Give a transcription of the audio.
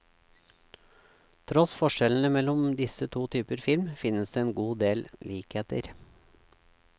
Tross forskjellene mellom disse to typer film finnes en god del likheter.